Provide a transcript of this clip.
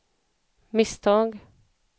misstag